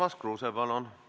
Urmas Kruuse, palun!